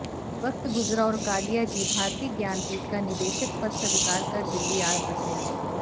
वक़्त गुज़रा और कालिया जी भारतीय ज्ञानपीठ का निदेशक पद स्वीकार कर दिल्ली आ बसे